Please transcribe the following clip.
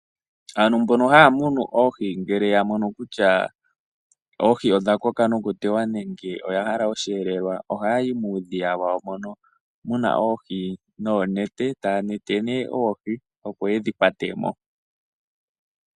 Aantu mbono haya munu oohi ngele yamono kutya oohi odha koka nokuteywa nenge oyahala osheelelwa, oha yayi muudhiya wawo mono muna oohi noonete. Taya nete nee oohi noonete opo yedhi kwatemo .